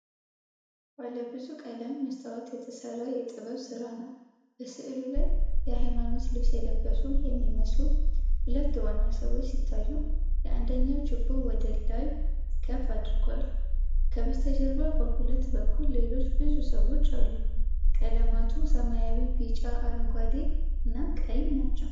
ባለ ብዙ ቀለም መስታወት የተሰራ የጥበብ ሥራ ነው። በሥዕሉ ላይ የሃይማኖት ልብስ የለበሱ የሚመስሉ ሁለት ዋና ሰዎች ሲታዩ፣ አንደኛው ችቦ ወደ ላይ ከፍ አድርጓል። ከበስተጀርባ በሁለቱም በኩል ሌሎች ብዙ ሰዎች አሉ። ቀለማቱ ሰማያዊ፣ ቢጫ፣ አረንጓዴና ቀይ ናቸው።